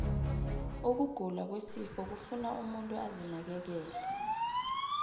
ukugula kwesifuba kufuna umuntu azinakekele